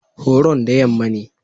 Horon da yamma ne.